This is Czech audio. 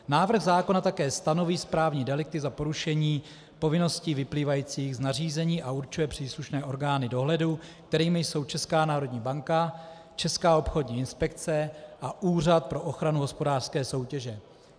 Návrh zákona také stanoví správní delikty za porušení povinností vyplývajících z nařízení a určuje příslušné orgány dohledu, kterými jsou Česká národní banka, Česká obchodní inspekce a Úřad pro ochranu hospodářské soutěže.